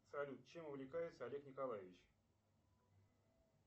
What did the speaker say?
салют чем увлекается олег николаевич